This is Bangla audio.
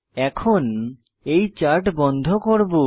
এখন এই চার্ট বন্ধ করব